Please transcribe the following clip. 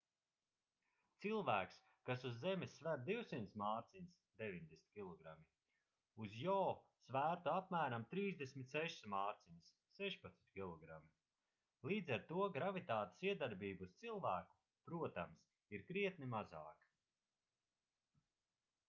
cilvēks kas uz zemes sver 200 mārciņas 90 kg uz jo svērtu apmēram 36 mārciņas 16 kg. līdz ar to gravitātes iedarbība uz cilvēku protams ir krietni mazāka